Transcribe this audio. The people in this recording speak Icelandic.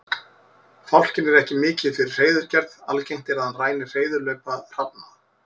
Fálkinn er ekki mikið fyrir hreiðurgerð, algengt er að hann ræni hreiðurlaupa hrafna.